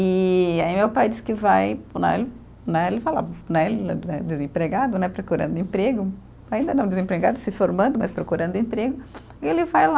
E aí meu pai diz que vai, né né, ele fala, né, ele eh desempregado, né, procurando emprego, ainda não desempregado, se formando, mas procurando emprego, e ele vai lá.